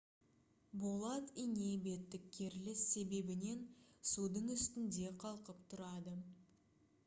болат ине беттік керіліс себебінен судың үстінде қалқып тұрады